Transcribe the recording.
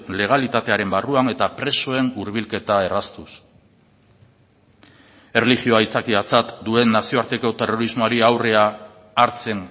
legalitatearen barruan eta presoen hurbilketa erraztuz erlijioa aitzakiatzat duen nazioarteko terrorismoari aurrea hartzen